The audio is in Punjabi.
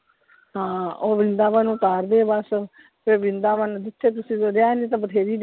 ਹਾਂ ਉਹ ਵ੍ਰਿੰਦਾਵਨ ਉਤਾਰਦੇ ਆ ਬਸ ਫਿਰ ਵ੍ਰਿੰਦਾਵਨ ਜਿਥੇ ਜਿਥੇ ਰਹਿਣ ਲਈ ਤਾਂ ਬਥੇਰੀ,